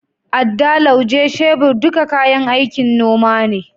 Adda, Lauje, shebir duka kayan aikin noma ne.